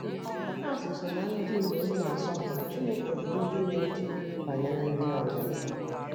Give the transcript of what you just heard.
Dọkas so ná ndị inyom na-asọpụrụ Chineke bụ́ ndị na-eche banyere ndị ọzọ.